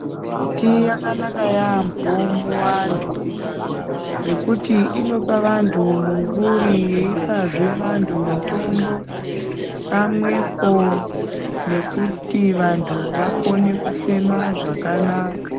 Miti yakanaka yaambo muvantu ngekuti inopa vantu mumvuri yeipazve vantu mutombo pamwepo nekuti vantu vakone kufema zvakanaka.